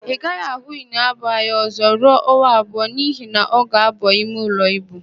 Ị gaghị ahụ Iniobong anya ọ̀zọ́ ruo ọnwa abụọ n'ihi na ọ ga-aba imeụlọ íbù.